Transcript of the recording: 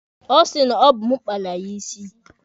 Ọ sị na ọ bụ mụ kpara ya isi.